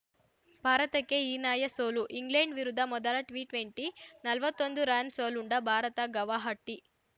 ಭಾರತಕ್ಕೆ ಹೀನಾಯ ಸೋಲು ಇಂಗ್ಲೆಂಡ್‌ ವಿರುದ್ಧ ಮೊದಲ ಟಿಟ್ವೆಂಟಿ ನಲ್ವತ್ತೊಂದು ರನ್‌ ಸೋಲುಂಡ ಭಾರತ ಗವಾಹಟಿ